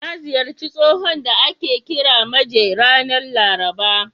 Na ziyarci tsohon da ake kira Maje ranar Laraba.